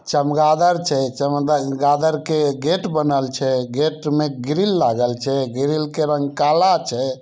चमगादड़ छै चमद--गादड़ के गेट बनल छै गेट में ग्रिल लागल छै ग्रिल के रंग काला छै।